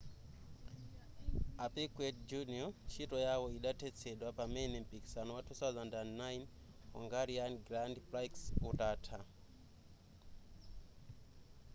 a piquet jr ntchito yawo idathetsedwa pamene mpikisano wa 2009 hungarian grand prix utatha